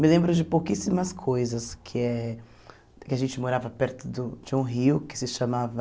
Me lembro de pouquíssimas coisas, que é... Que a gente morava perto do de um rio que se chamava...